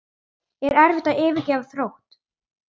Er erfitt að yfirgefa Þrótt?